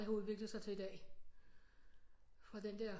Det har udviklet sig til i dag fra den der